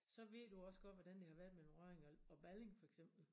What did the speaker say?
Så ved du også godt hvordan det har været mellem Rødding og Balling for eksempel